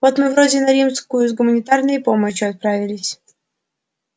вот мы вроде на рижскую с гуманитарной помощью отправились